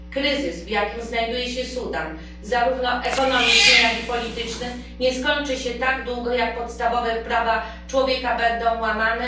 Kryzys, w jakim znajduje się Sudan, zarówno ekonomiczny, jak i polityczny, nie skończy się dopóty, dopóki podstawowe prawa człowieka będą łamane.